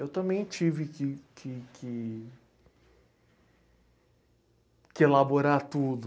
Eu também tive que que que... que elaborar tudo.